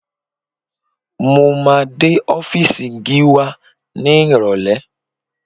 Mo máa dé ọ́fíìsì Gíwá ní Ìrọ̀lẹ̀